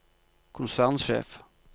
konsernsjef